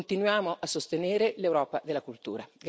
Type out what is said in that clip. Continuiamo a sostenere l'Europa della cultura.